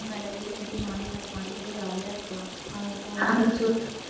வீடு மேலே வீடு கட்டி மாடி மேல மாடி கட்டி jolly யா இருக்கலாம் அதை போய்